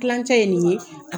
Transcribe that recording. Klancɛ ye nin ye